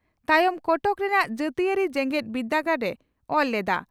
ᱛᱟᱭᱚᱢ ᱠᱚᱴᱚᱠ ᱨᱮᱱᱟᱜ ᱡᱟᱹᱛᱤᱭᱟᱹᱨᱤ ᱡᱮᱜᱮᱛ ᱵᱤᱨᱫᱟᱹᱜᱟᱲ ᱨᱮ ᱚᱞ ᱞᱮᱫᱼᱟ ᱾